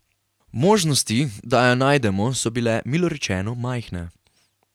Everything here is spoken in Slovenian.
Možnosti, da jo najdemo, so bile, milo rečeno, majhne.